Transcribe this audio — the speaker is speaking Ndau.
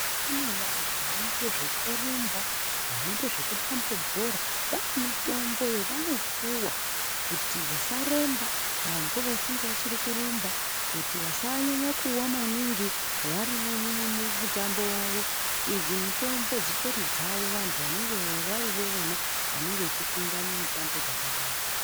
Kune vanhu vanoita zvekurumba vanoita zvekutambe bhora vane mitombo yevanopuhwa kuti vasaremba ngambo vachiri kurumba kuti vasanyanya kuwa maningi varimo mumutambo wavo ,idzi mutombo dzitori dzavo vantu vanenge varivo ivona vanenge vechipinda mumitambo dzakadaii.